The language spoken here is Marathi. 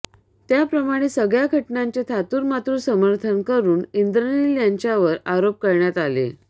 त्याप्रमाणे सगळ्या घटनांचे थातुरमातुर समर्थन करून इन्द्रनिल यांच्यावर आरोप करण्यात आले